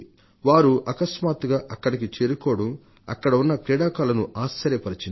వారు అకస్మాత్తుగా అక్కడికి చేరుకోవడం అక్కడ ఉన్న క్రీడాకారులను ఆశ్చర్యపరిచింది